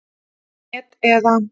net eða.